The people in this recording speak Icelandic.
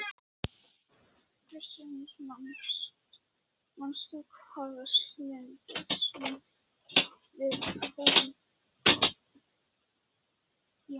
Krister, manstu hvað verslunin hét sem við fórum í á mánudaginn?